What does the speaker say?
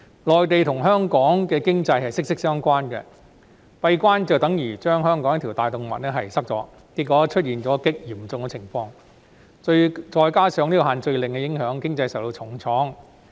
內地和香港的經濟息息相關，"閉關"便等於堵塞了香港的一條大動脈，結果出現極嚴重的問題，再加上限聚令的影響，經濟因而受到重創。